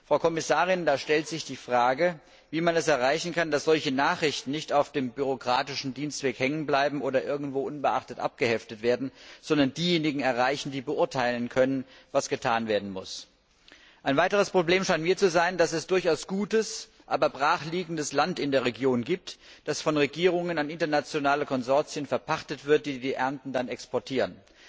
Frau Kommissarin, da stellt sich die Frage, wie man es erreichen kann, dass solche Nachrichten nicht auf dem bürokratischen Dienstweg hängenbleiben oder irgendwo unbeachtet abgeheftet werden, sondern diejenigen erreichen, die beurteilen können, was getan werden muss. Ein weiteres Problem scheint mir zu sein, dass es durchaus gutes, aber brachliegendes Land in der Region gibt, das von Regierungen an internationale Konsortien verpachtet wird, die die Ernten dann exportieren.